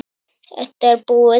Þetta er búið